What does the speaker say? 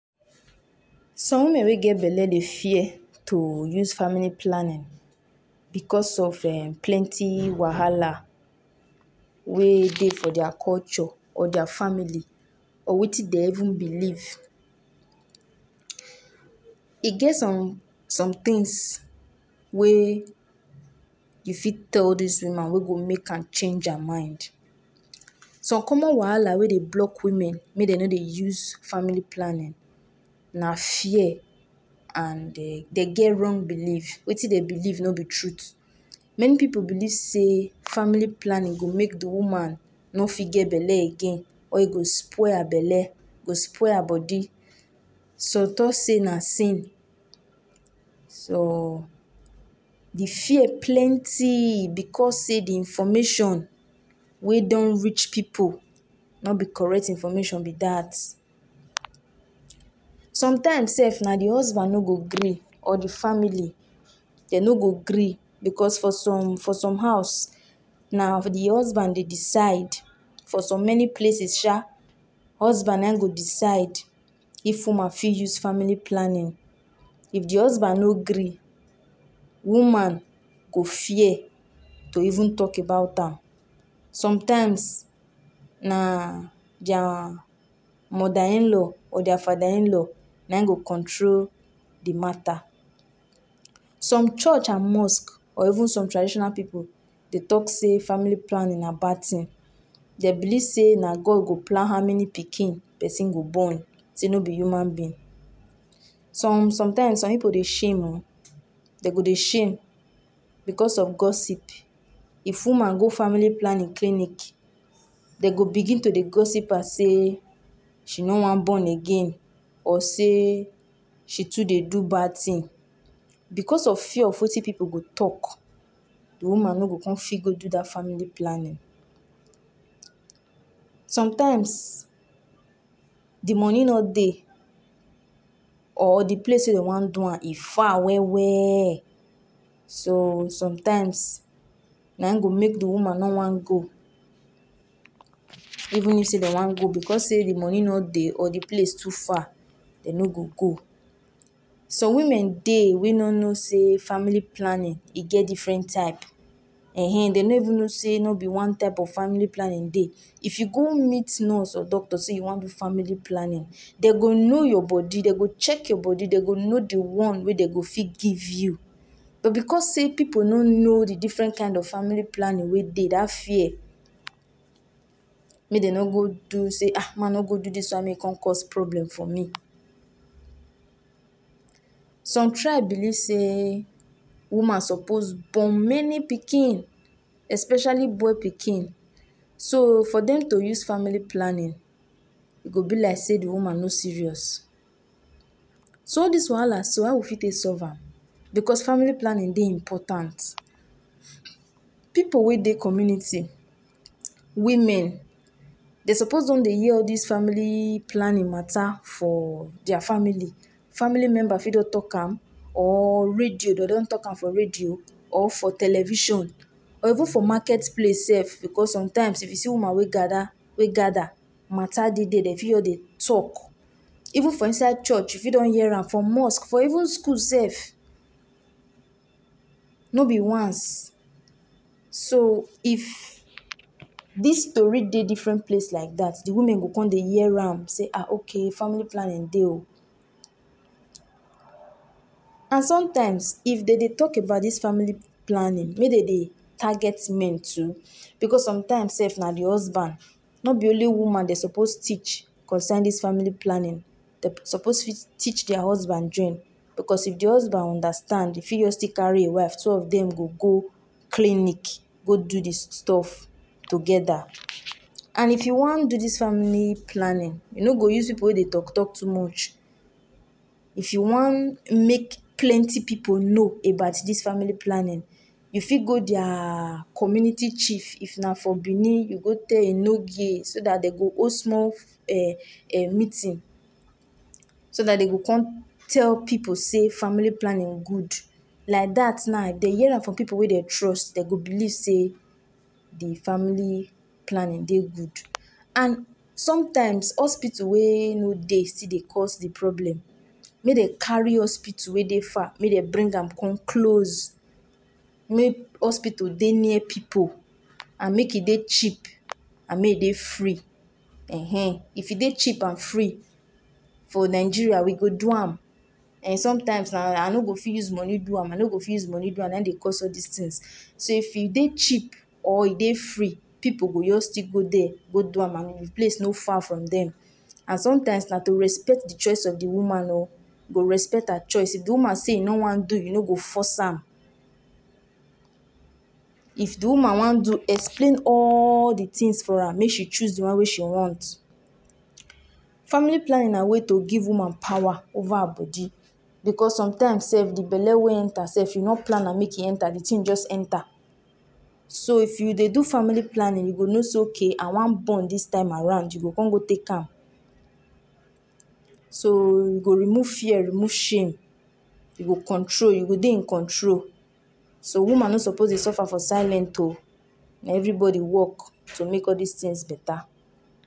Ah! See as dat elephant big. Eh! Elephant na one animal wey I always dey respect. Because of how big wey dem be and how dem dey behave like say dem get sense pass some people sef. Elephant na the biggest land animal wey dey this world oh! E no dey hard to know dem: big ear, long trunk, and their skin dey be like leather, thick well well. You go see dem for places like Africa and even Asia. For Africa here, na mostly for forest and savanna area you go find dem. Dem dey waka in group wey dem dey call herd, and dem dey like follow each other with respect. The trunk of elephant na one powerful tool. E dey use am drink water. E dey use am chop. E even dey take am play or carry small pikin. I don watch video wey e be say elephant use trunk rescue another elephant from river. No be small thing oh! E show say dem get feelings too. Dem sabi show love and even mourn when one of their own die. Dem dey chop plenty things like leaves, grass, back of tree and fruits. And because dem big, dem dey chop like say tomorrow no dey. I even hear say elephant fit chop like 150 kg of food for one day. Ah! Imagine say na you dey cook for am, eh! You go tire before dem belle go full sef. But wetin sweet me pass be say, elephant dey get good memory. Na why people dey talk say “Elephant no dey forget.” One elephant fit remember where river or road wey e pass years ago dey. And if pesin do dem bad, um! the elephant still remember dat face. So make you no go do dem anyhow oh! I remember one time for zoo wey I see elephant live. I see dem with my koro koro eye um! The way wey the thing dey waka slow and calm eh! But e still get power sha. I just dey look am like say I dey see king. Even small pikin dey happy wave give am. Eh! So for me oh, elephant, ah! elephant na strong, wise, and peaceful animal. We suppose protect dem so that future generations still fit see dem with their eyes, no be only for picture.